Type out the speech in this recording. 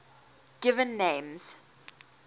given names